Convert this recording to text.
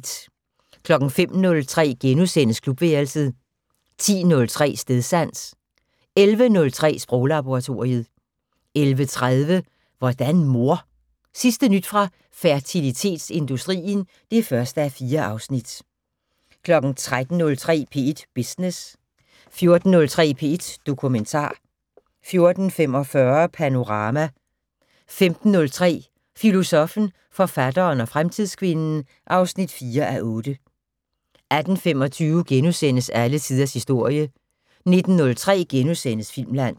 05:03: Klubværelset * 10:03: Stedsans 11:03: Sproglaboratoriet 11:30: Hvordan mor? Sidste nyt fra fertilitetsindustrien (1:4) 13:03: P1 Business 14:03: P1 Dokumentar 14:45: Panorama 15:03: Filosoffen, forfatteren og fremtidskvinden (4:8) 18:25: Alle tiders historie * 19:03: Filmland *